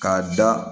K'a da